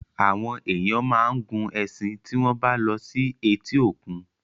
Àwọn èèyàn máa ń gun ẹṣin tí wọ́n bá lọ sí etí òkun.